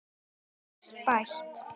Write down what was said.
Þetta fékkst bætt.